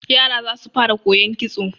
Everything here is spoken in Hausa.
Yara za su fara koyon kitso.